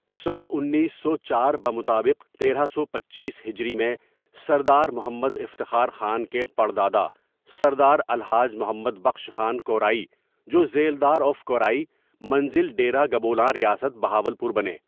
؁انیسو چار بمطابق تیرہ سو پچیس ہجری میں سردار محمد افتخار خان کے پڑ دادا سردار الحاج محمد بخش خان کورائی جو ذیلدار آف کورائی منزل ڈیرہ گبولاں ریاست بہاول پور بنے.